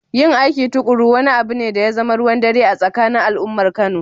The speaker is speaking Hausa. Yin aiki tuƙuru wani abu ne da ya zama ruwan dare a tsakanin al’ummar Kano